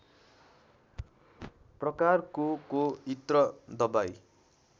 प्रकारकोको इत्र दबाइ